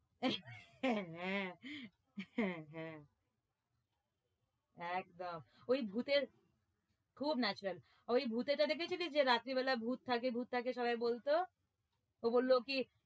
হ্যাঁ হ্যাঁ হ্যাঁ একদম ওই ভূতের খুব natural ওই ভূতের জায়গাটা দেখেছিলি যে রাত্রি বেলা ভুত থাকে ভুত থাকে সবাই বলতো? ও বললো কি